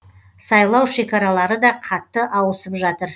сайлау шекаралары да қатты ауысып жатыр